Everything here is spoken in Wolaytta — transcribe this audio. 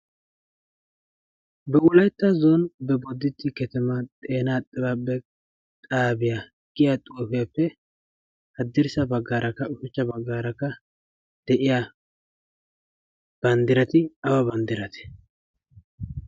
"ba wulaetta zone be boditti ketamaa xeenaa xibaa be xaabiyaa "giya xoufiaeppe haddirssa baggaarakka ushuchcha baggaarakka de7iya banddirati awa banddirati